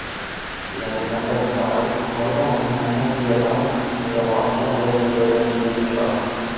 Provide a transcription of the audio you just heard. இதனைக் கண்ட தாய் முருகன் என்னை அணங்கியதால் இந்த வாட்டம் நேர்ந்துள்ளது என்று நினைக்கிறாள்